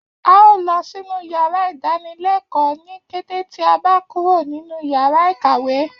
A óò lọ sínú yàrá ìdánilẹ́kọ̀ọ́ ní kété tí a bá kúrò nínu yàrá ìkàwé